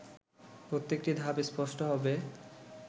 প্রত্যেকটি ধাপ স্পষ্ট হবে